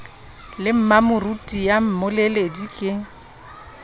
le mmamoruti ya mmoledi ke